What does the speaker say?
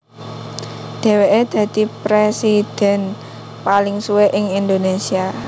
Dhèwèke dadi prèsidhèn paling suwé ing Indonésia